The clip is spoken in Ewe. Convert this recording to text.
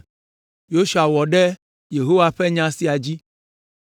Yosua wɔ ɖe Yehowa ƒe nya sia dzi,